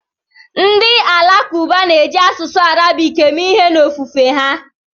Ndị Alakụba na-eji asụsụ Arabik eme ihe n'ofufe ha.